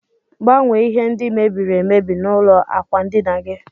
Gbanwe ihe ndi mebiri emebi na ụlọ akwa ndina gi.